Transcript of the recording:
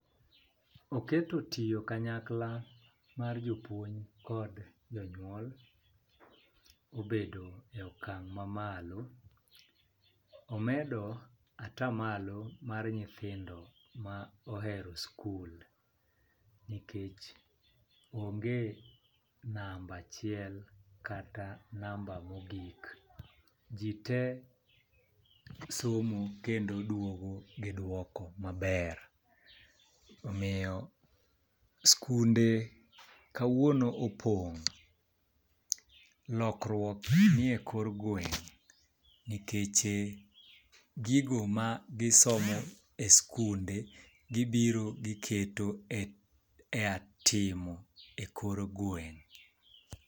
Oketo tiyo kanyakla mar jopuonj kod jonyuol obedo e okang' mamalo , omedo atamalo mar nyithindo ma ohero skul nikech onge namba achiel kata namba mogik. Jii tee somo kendo duogo gi duoko maber .Omiyo skunde kawuono opong', lokruok nie kor gweng' nikeche gigo ma gisomo e skunde gibiro giketo e ea timo e kor gweng'.